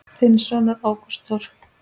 Þinn sonur, Ágúst Þór.